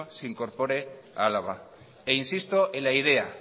se incorpore a álava e insisto en la idea